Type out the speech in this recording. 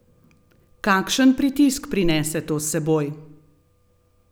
Kakšen pritisk prinese to s seboj?